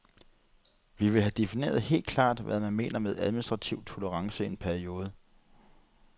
Vi vil have defineret helt klart, hvad man mener med administrativ tolerance i en periode.